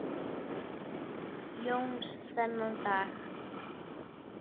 Jóns þennan dag.